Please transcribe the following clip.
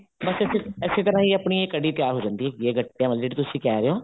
ਬੱਸ ਅਸੀਂ ਏਸੇ ਤਰ੍ਹਾਂ ਹੀ ਆਪਣੀ ਕੜ੍ਹੀ ਤਿਆਰ ਹੋ ਜਾਂਦੀ ਹੈਗੀ ਹੈ ਗੱਟਿਆ ਵਾਲੀ ਜਿਹੜੀ ਤੁਸੀਂ ਕਹਿ ਰਹੇ ਹੋ